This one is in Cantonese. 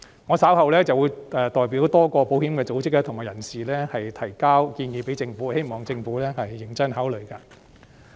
我稍後會代表多個保險組織和人士向政府提交建議，希望政府認真考慮。